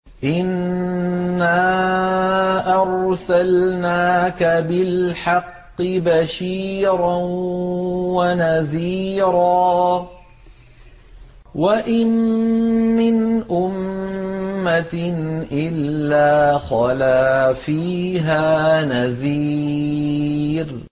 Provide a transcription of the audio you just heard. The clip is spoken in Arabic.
إِنَّا أَرْسَلْنَاكَ بِالْحَقِّ بَشِيرًا وَنَذِيرًا ۚ وَإِن مِّنْ أُمَّةٍ إِلَّا خَلَا فِيهَا نَذِيرٌ